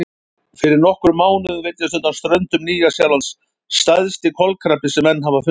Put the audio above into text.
Fyrir nokkrum mánuðum veiddist undan ströndum Nýja-Sjálands stærsti kolkrabbi sem menn hafa fundið.